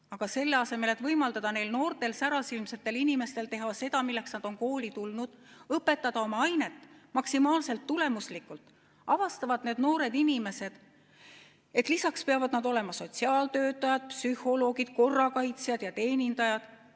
Aga selle asemel et võimaldada neil noortel särasilmsetel inimestel teha seda, milleks nad on kooli tulnud, õpetada oma ainet maksimaalselt tulemuslikult, avastavad need noored inimesed, et lisaks peavad nad olema sotsiaaltöötajad, psühholoogid, korrakaitsjad ja teenindajad.